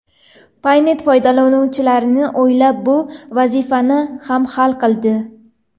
Paynet foydalanuvchilarni o‘ylab bu vazifani ham hal qildi.